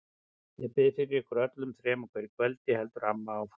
Ég bið fyrir ykkur öllum þrem á hverju kvöldi, heldur amma áfram.